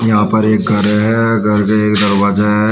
यहां पर एक घर है घर का एक दरवाजा है।